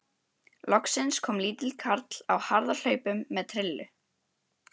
Loksins kom lítill karl á harðahlaupum með trillu.